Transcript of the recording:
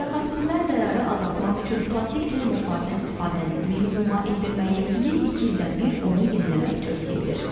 Mütəxəssislər zərəri azaltmaq üçün plastik termoslardan istifadəni minimuma endirməyi, bir-iki ildən bir onu yeniləməyi tövsiyə edir.